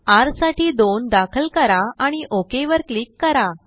rसाठी2दाखल करा आणि ओक वर क्लिक करा